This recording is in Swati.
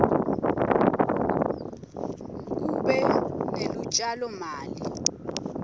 kube nelutjalo mali